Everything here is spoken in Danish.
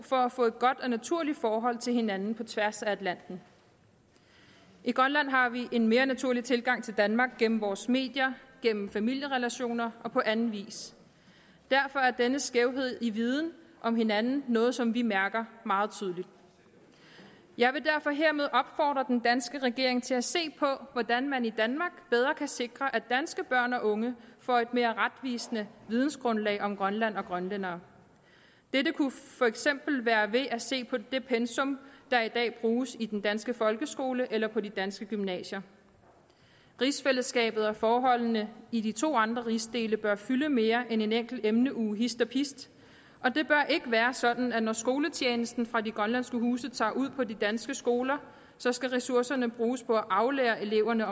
for at få et godt og naturligt forhold til hinanden på tværs af atlanten i grønland har vi en mere naturlig tilgang til danmark gennem vores medier gennem familierelationer og på anden vis derfor er denne skævhed i viden om hinanden noget som vi mærker meget tydeligt jeg vil derfor hermed opfordre den danske regering til at se på hvordan man i danmark bedre kan sikre at danske børn og unge får et mere retvisende videngrundlag om grønland og grønlændere dette kunne for eksempel være ved at se på det pensum der i dag bruges i den danske folkeskole eller på de danske gymnasier rigsfællesskabet og forholdene i de to andre rigsdele bør fylde mere end en enkelt emneuge hist og pist og det bør ikke være sådan at når skoletjenesten fra de grønlandske huse tager ud på de danske skoler skal ressourcerne bruges på at aflære eleverne